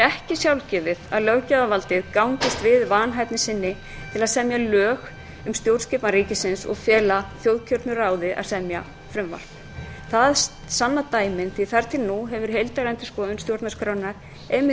ekki sjálfgefið að löggjafarvaldið gangist við vanhæfni sinni til að semja lög um stjórnskipan ríkisins og feli þjóðkjörnu ráði að semja frumvarp það sanna dæmin því að þar til nú hefur heildarendurskoðun stjórnarskrárinnar einmitt verið